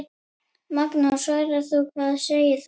Magnús: Svavar, hvað segir þú?